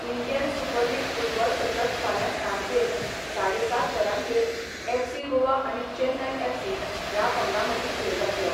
Indian super league football सतत फाल्यां सांजे साडे सात वरांचेर एफसी गोवा आनी चेन्नय एफसी ह्या पंगडां मदीं खेळ जातलो.